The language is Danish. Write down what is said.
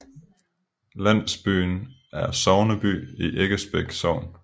Landsbyen er sogneby i Eggebæk Sogn